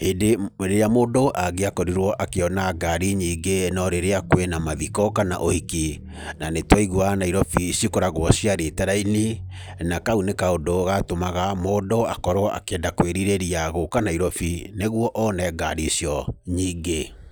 hĩndĩ ĩrĩa mũndũ angĩakorirwo akĩona ngari nyingĩ no rĩrĩa kwĩna mathiko kana ũhiki, na nĩ twaiguaga Nairobi cikoragwo ciarĩte raini, na kau nĩ kaũndũ gatũmaga mũndũ akorwo akĩenda kwĩrirĩria gũka Nairobi, nĩguo one ngari icio nyingĩ.